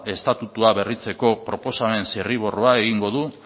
estatutua berritzeko proposamen zirriborroa egingo du